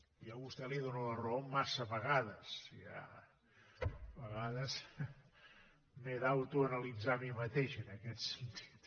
jo a vostè li dono la raó massa vegades a vegades m’he d’autoanalitzar a mi mateix en aquest sentit